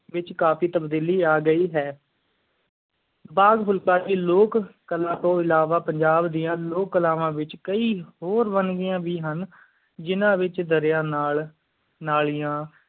ਵਿਚ ਕਾਫੀ ਤਬਦੀਲੀ ਅਗਾਯੀ ਹੈ ਬਾਜ਼ ਫੁਲਕਾਰੀ ਲੋਕ ਕਲਾ ਤੂੰ ਇਲਾਵਾ ਪੰਜਾਬ ਦੀਆਂ ਲੋਕ ਕਲਾਵਾਂ ਵਿਚ ਦਰਿਆ ਨਾਲ ਨਾਲੀਆਂ